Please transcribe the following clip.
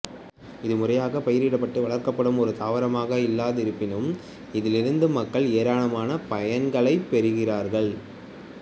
இது முறையாகப் பயிரிடப்பட்டு வளர்க்கப்படும் ஒரு தாவரமாக இல்லாதிருப்பினும் இதிலிருந்து மக்கள் ஏராளமான பயன்களைப் பெறுகிறார்கள்